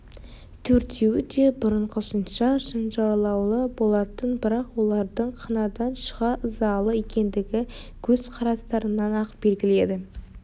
төртеуі де бұрынғысынша шынжырлаулы болатын бірақ олардың қанадан шыға ызалы екендігі көз қарастарынан-ақ белгілі еді